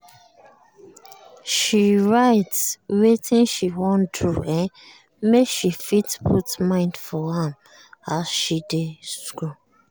she write wetin she wan do um make she fit put mind for am as she dey school. um